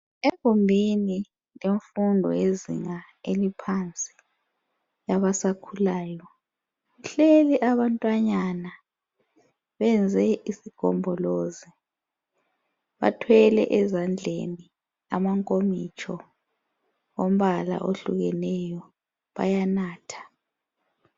Egumbini lemfundo yezinga eliphansi labasakhulayo kuhleli abantwanyana benze isigombolozi bathwele ezandleni amankomitsho wombala ohlukeneyo bayanatha.